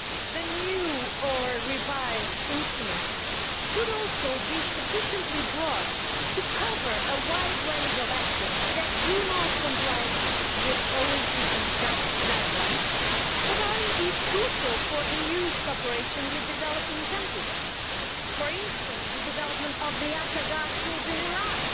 The new or revised instrument should also be sufficiently broad to cover a wide range of actions that do not comply with the OECD DAC guidelines, but which are crucial for the EU's cooperation with developing countries, for instance, the development of the Akkas gas fields in Iraq